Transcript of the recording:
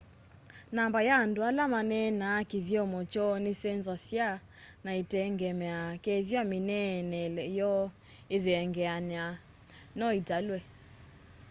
namba ya andu ala maneenaa kithyomo kyoo nisenzasya na itengemeaa kethwa mineenele yoo ithengeanie no italwe